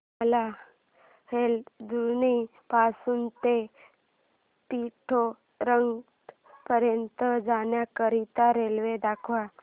मला हलद्वानी पासून ते पिठोरागढ पर्यंत जाण्या करीता रेल्वे दाखवा